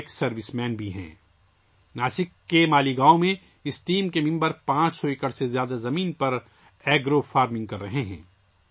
اس team کے ارکان ناسک کے مالیگاؤں میں 500 ایکڑ سے زیادہ اراضی میں ایگرو فارمنگ کر رہے ہیں